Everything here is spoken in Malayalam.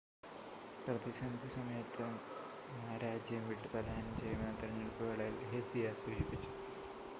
പ്രതിസന്ധി സമയത്ത് മാ രാജ്യം വിട്ട് പലായനം ചെയ്യുമെന്ന് തെരഞ്ഞെടുപ്പ് വേളയിൽ ഹെസിയ സൂചിപ്പിച്ചു